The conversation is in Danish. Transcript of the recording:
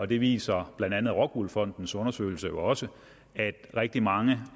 det viser blandt andet rockwool fondens undersøgelse jo også rigtig mange